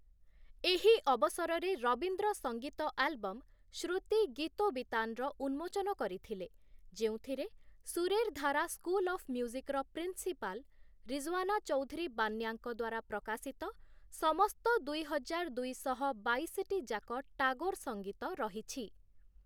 ଏହି ଅବସରରେ ରବୀନ୍ଦ୍ର ସଙ୍ଗୀତ ଆଲ୍‌ବମ 'ଶ୍ରୁତି ଗୀତୋବିତାନ'ର ଉନ୍ମୋଚନ କରିଥିଲେ, ଯେଉଁଥିରେ ଶୁରେର ଧାରା ସ୍କୁଲ ଅଫ୍‌ ମ୍ୟୁଜିକର ପ୍ରିନ୍‌ସିପାଲ 'ରିଜ୍‌ଓ୍ୱାନା ଚୌଧୁରୀ ବାନ୍ୟା'ଙ୍କ ଦ୍ୱାରା ପ୍ରକାଶିତ ସମସ୍ତ ଦୁଇହଜାର ଦୁଇଶହ ବାଇଶଟି ଯାକ ଟାଗୋର ସଙ୍ଗୀତ ରହିଛି ।